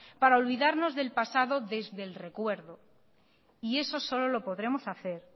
para olvidarnos del pasado desde el recuerdo y eso solo lo podremos hacer